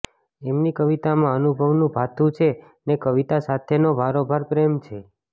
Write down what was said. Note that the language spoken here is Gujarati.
એમની કવિતામાં અનુભવનું ભાથું છે ને કવિતા સાથેનો ભારોભાર પ્રેમ છે